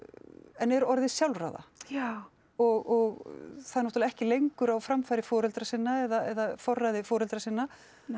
en er orðið sjálfráða já og það er náttúrulega ekki lengur á framfæri foreldra sinna eða forræði foreldra sinna